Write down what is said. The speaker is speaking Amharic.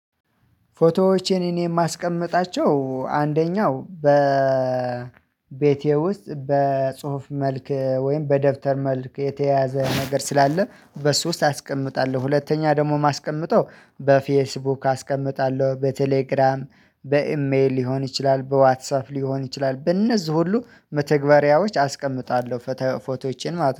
ፎቶዎች እኔን የማስቀምጣቸው አንደኛው በቤቴ ውስጥ በጽሁፍ መልክ ወይም በደብተር መልክ የተያዘ ነገር ስላለ በሱ ውስጥ አስቀምጣለሁ። ሁለተኛ ደግሞ ማስቀመጠው በፌስቡክ አስቀምጣለሁ በቴሌግራም በኢሜል ሊሆን ይችላል በዋትሳፕ ሊሆን ይችላል በእነዚህ ሁሉ መተግበሪያዎች አስቀምጣለሁ። ፎቶዎቼን